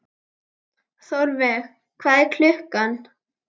Þórveig, hvað er klukkan?